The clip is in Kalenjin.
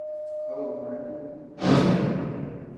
Kakobek makatinik?